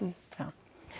já